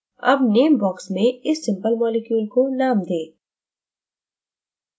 अब name box में इस simple molecule को name दें